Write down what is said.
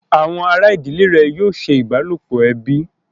Àwọn àrà ìdílé rẹ̀ yóò ṣe ìbálòpọ̀ ẹbí